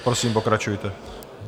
Prosím, pokračujte.